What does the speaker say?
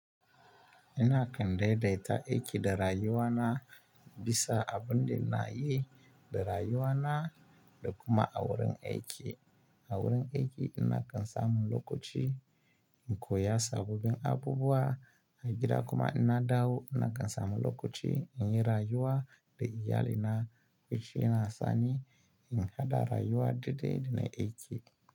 Ina kan daidaita aiki da rayuwa na bisa abin da na yi da rayuwa na da kuma a wurin aiki. A wurin aiki ina kan samu lokaci in koya sabobin abubuwa, a gida kuma ina dawo ina kan samu lokaci in yi rayuwa da iyalina, kuci ina sani, in haɗa rayuwa daidai da na aiki.